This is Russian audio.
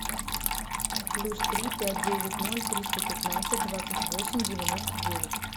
плюс три пять девять ноль триста пятнадцать двадцать восемь девяносто девять